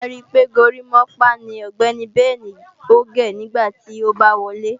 Wàá rí pé górimápá ni Ọ̀gbẹ́ni Bẹnì ò gé nígbà tí a bá wọlé